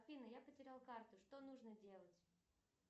афина я потерял карту что нужно делать